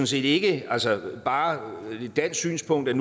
set ikke bare et dansk synspunkt at